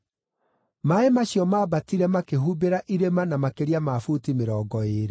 Maaĩ macio maambatire makĩhumbĩra irĩma na makĩria ma buti mĩrongo ĩĩrĩ.